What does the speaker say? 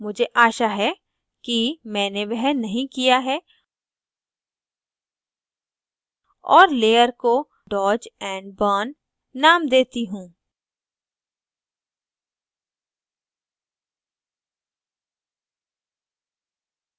मुझे आशा है कि मैंने वह नहीं किया है और layer को dodge and burn name देती हूँ